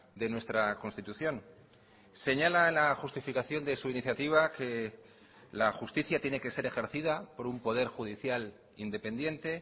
de nuestra constitución señala la justificación de su iniciativa que la justicia tiene que ser ejercida por un poder judicial independiente